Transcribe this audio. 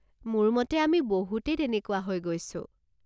মোৰ মতে আমি বহুতে তেনেকুৱা হৈ গৈছো।